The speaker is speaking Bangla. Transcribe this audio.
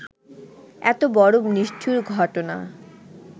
এত বড় নিষ্ঠুর ঘটনা